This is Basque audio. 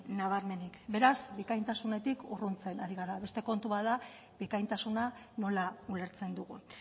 nabarmenik beraz bikaintasunetik urruntzen ari gara beste kontu bat da bikaintasuna nola ulertzen dugun